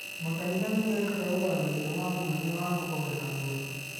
Makanitha nĩ mekaga ũthathaiya wa mwanya wa kũhoera arũaru.